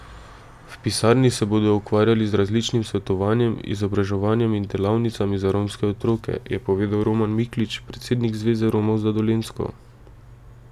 V pisarni se bodo ukvarjali z različnim svetovanjem, izobraževanjem in delavnicami za romske otroke, je povedal Roman Miklič, predsednik Zveze Romov za Dolenjsko.